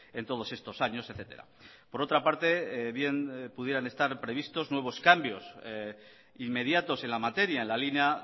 en todos estos años etcétera por otra parte bien pudieran estar previstos nuevos cambios inmediatos en la materia en la línea